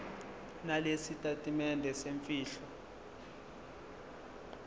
nalesi sitatimende semfihlo